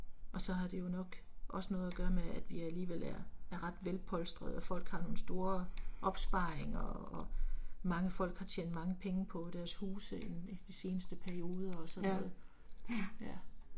Og så har det jo nok også noget at gøre med at vi alligevel er er ret velpolstrede at folk har nogle store opsparinger og mange folk har tjent mange penge på deres huse i de seneste perioder også og sådan noget, ja